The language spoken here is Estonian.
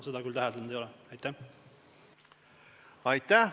Aitäh!